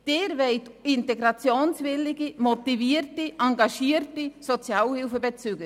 Sie wollen integrationswillige, motivierte, engagierte Sozialhilfebezüger.